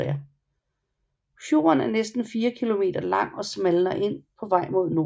Fjorden er næsten fire kilometer lang og smalner ind på vej mod nord